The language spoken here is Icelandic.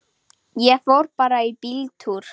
Ég fór bara í bíltúr.